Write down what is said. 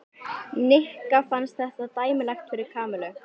Nikka fannst þetta dæmigert fyrir Kamillu.